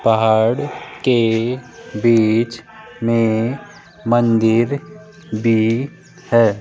पहाड़ के बीच में मंदिर भी है।